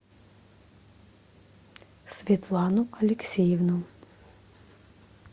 светлану алексеевну